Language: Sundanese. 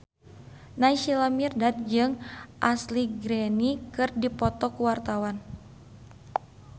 Naysila Mirdad jeung Ashley Greene keur dipoto ku wartawan